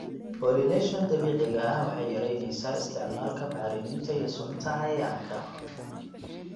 Pollination dabiiciga ah waxay yaraynaysaa isticmaalka bacriminta iyo sunta cayayaanka.